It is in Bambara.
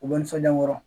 U bɛ nisɔndiya n kɔrɔ